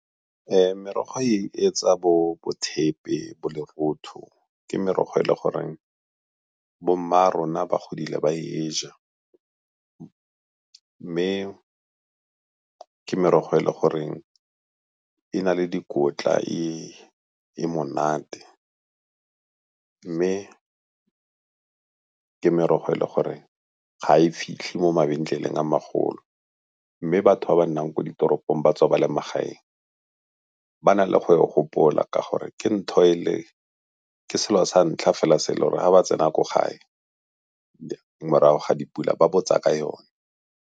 Merogo etsa bo thepe bo lerotho, ke merogo e e le goreng bomma rona ba godile ba e ja mme ke merogo e e le goreng e na le dikotla e e monate. Mme ke merogo e le gore ga e fitlhe mo mabenkeleng a magolo, mme batho ba ba nnang ko ditoropong ba tswa ba le magaeng ba na le go e gopola ka gore ke selo sa ntlha fela se e le gore ga ba tsena ko gae morago ga dipula ba botsa ka yone.